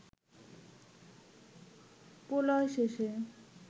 প্রলয় শেষে